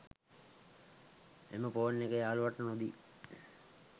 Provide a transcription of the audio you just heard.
එම ෆෝන් එක යාළුවාට නොදී